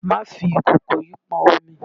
Máa fi ìkòkò yìí pọn omi!